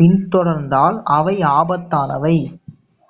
பின்தொடர்ந்தால் அவை ஆபத்தானவை